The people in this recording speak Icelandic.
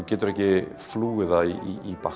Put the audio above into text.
getur ekki flúið það í